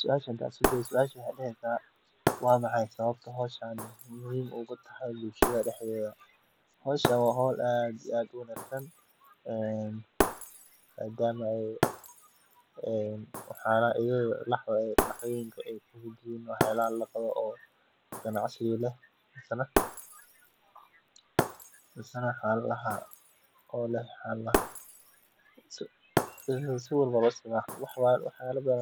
Suasha hadan iskudayo waa maxay sawabta ee muhiim ogu tahay bulshaada daxdedha hoshan muhiim ayey utahay waxana tahay lax ama waxyalaha ganacsiga lehbwaxyala badan